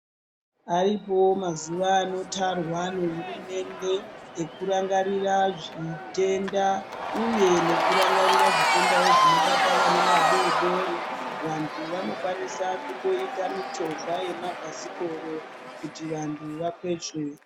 Aripowo mazuwa anotarwa nehurumende ekurangarira zvitenda uye nekirangarirawo zvitenda zvinobata vana vadodori. Vantu vanokwanisa kutoita michovha yemabhasikoro kuti vantu vakwezve.